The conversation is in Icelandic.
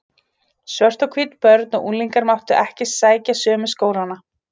Svört og hvít börn og unglingar máttu ekki sækja sömu skólana.